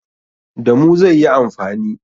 Da mu zai yi amfani.